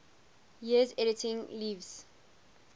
years editing lewes's